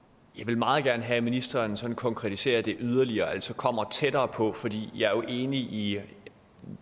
jeg vil meget gerne have at ministeren sådan konkretiserer det yderligere altså kommer tættere på for jeg er enig i